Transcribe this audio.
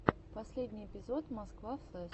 последний эпизод москва флэс